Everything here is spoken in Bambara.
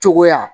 Cogoya